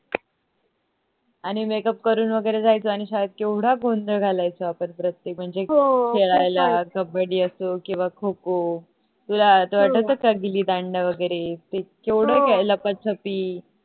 आणि makeup करून वैगरे जायचं आणि शाळेत केवढा गोंधळ घालायचो आपण प्रत्येक म्हणजे खेळायला कबड्डी असो किव्वा खो खो तुला आठवत का गिल्ली दांडा वगरे ते केवढा लपाछपी